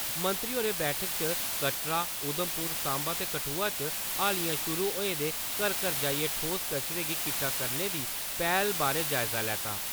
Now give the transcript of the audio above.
मंत्री होरें बैठका च कटड़ा, उधमपुर, साम्बा ते कठुआ च हालियां शुरु होए दे घर-घर जाइयै ठोस कचरें गी किट्ठा करने दी पैह्‌ल बारै जायजा लैता।